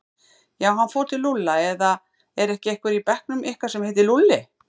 Já, hann fór til Lúlla eða er ekki einhver í bekknum ykkar sem heitir Lúlli?